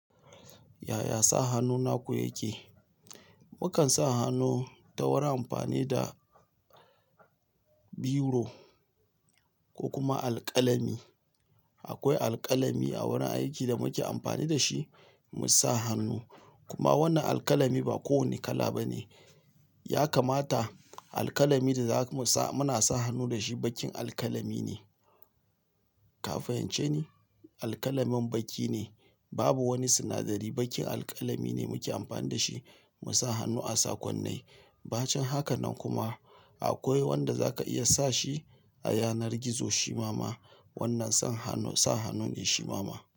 Yaya sa hannu naku yake? Mukan sa hannu ta wurin amfani da biro ko kuma alƙalami. Akwai alƙalami a wurin aiki da muke amfani da shi mu sa hannu. Kuma wannan alƙalami ba kowane kala ba ne. Ya kamata alƙalami da za ka sa, muna sa hannu da shi baƙin alƙalami ne. Ka fahimce ni? Alƙalamin baƙi ne. Babu wani sinadari, baƙin alƙalami ne muke amfani da shi mu sa hannu a sakonnai. Ba can haka nan kuma akwai wanda za ka iya sa shi a yanar gizo, shi mama. Wannan sa hannu ne shi mama.